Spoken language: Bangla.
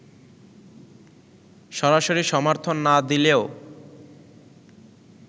সরাসরি সমর্থন না দিলেও